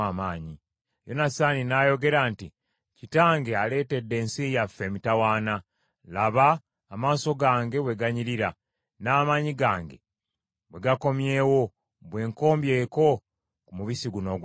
Yonasaani n’ayogera nti, “Kitange aleetedde ensi yaffe emitawaana. Laba amaaso gange bwe ganyirira n’amaanyi gange bwe gakomyewo bwe nkombyeko ku mubisi guno ogw’enjuki.